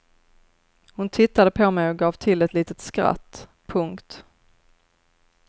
Hon tittade på mej och gav till ett litet skratt. punkt